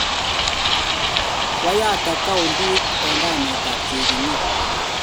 kwayat akauntit eng kainet ab chebinyu